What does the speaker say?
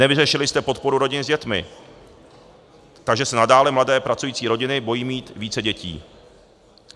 Nevyřešili jste podporu rodin s dětmi, takže se nadále mladé pracující rodiny bojí mít více dětí.